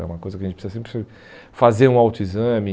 É uma coisa que a gente precisa sempre fazer um autoexame.